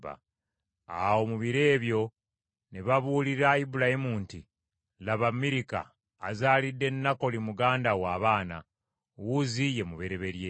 Awo mu biro ebyo ne babuulira Ibulayimu nti, “Laba Mirika azaalidde Nakoli muganda wo abaana: Uzi ye mubereberye,